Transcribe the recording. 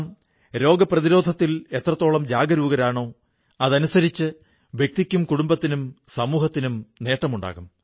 നാം രോഗപ്രതിരോധത്തിൽ എത്രത്തോളം ജാഗരൂകരാണോ അതനുസരിച്ച് വ്യക്തിക്കും കുടുംബത്തിനും സമൂഹത്തിനും നേട്ടമുണ്ടാകും